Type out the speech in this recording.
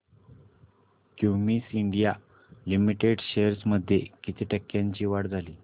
Cummins India limited shares मध्ये किती टक्क्यांची वाढ झाली